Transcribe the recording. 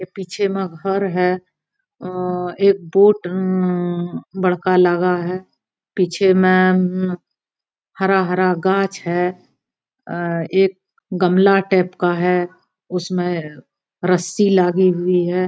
पीछे माँ घर है आ एक बोट अम्म बड़का लगा है पीछे में अम्म हरा हरा घांच है आ एक गमला टेप का है उसमे रस्सी लागी हुई है